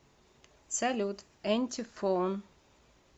салют энтифон